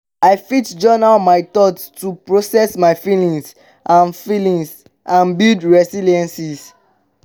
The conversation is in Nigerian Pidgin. i fit journal my thoughts to process my feelings and feelings and build resilience.